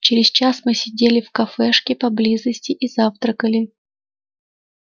через час мы сидели в кафешке поблизости и завтракали